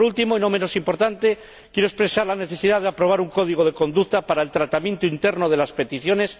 Por último, pero no por ello menos importante, quiero expresar la necesidad de aprobar un código de conducta para el tratamiento interno de las peticiones.